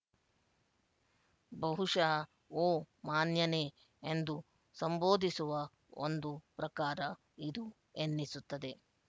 ಬಹುಶಃ ಓ ಮಾನ್ಯನೇ ಎಂದು ಸಂಬೋಧಿಸುವ ಒಂದು ಪ್ರಕಾರ ಇದು ಎನ್ನಿಸುತ್ತದೆ